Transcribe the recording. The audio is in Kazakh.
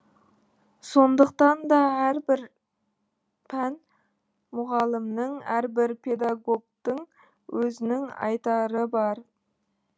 сондықтан да әрбір пән мұғалімінің әрбір педагогтың өзінің айтары бар